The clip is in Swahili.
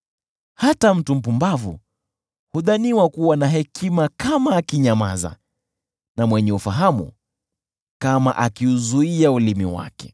Hata mtu mpumbavu hudhaniwa kuwa na hekima kama akinyamaza, na mwenye ufahamu kama akiuzuia ulimi wake.